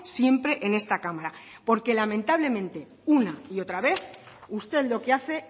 siempre en esta cámara porque lamentablemente una y otra vez usted lo que hace